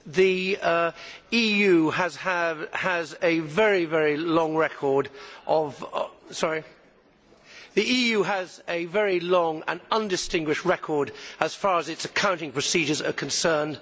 The EU has a very long and undistinguished record as far as its accounting procedures are concerned.